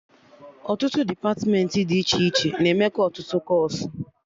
Ọtụtụ depatmentị dị iche iche na-emekọ ọtụtụ kọọsụ